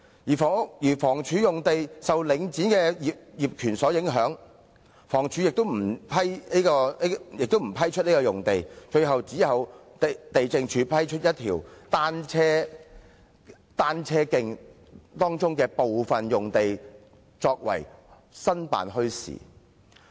此外，房屋署的用地受領展業權所影響，亦不批出用地，最終只有地政總署批出一條單車徑當中的部分用地用作營辦墟市用途。